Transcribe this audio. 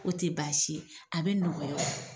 O te baasi ye a be nɔgɔya o